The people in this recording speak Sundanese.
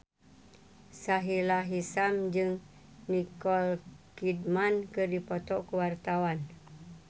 Sahila Hisyam jeung Nicole Kidman keur dipoto ku wartawan